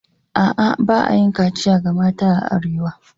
A'a, ba a yi kachiya ga 'yan mata a arewa ba